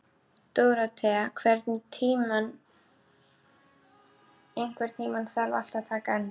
Dórótea, einhvern tímann þarf allt að taka enda.